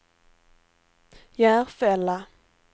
Järfälla